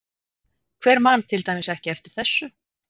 Hver man til dæmis ekki eftir þessu?